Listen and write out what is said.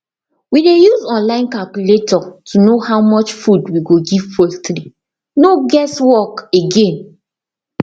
we dey use online calculator to know how much food we go give poultry no guess work again